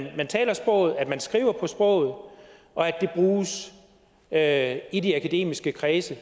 taler sproget at man skriver på sproget og at det i de akademiske kredse i